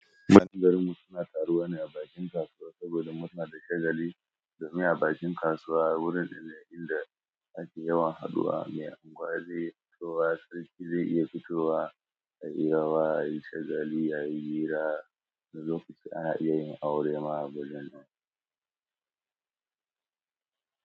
Matan garin mu suna taruwa ne a bakin kasuwa saboda murna da shagali, domin a bakin kasuwa wurin da inda ake yawan haduwa mai angwaze fitowa sarki zai iya fitowa a hirawa a yi shagali a yi hira na lokacin a yin aure ma gudun.